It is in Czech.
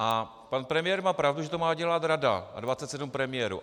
A pan premiér má pravdu, že to má dělat Rada a 27 premiérů.